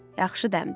Yaxşı dəmdi.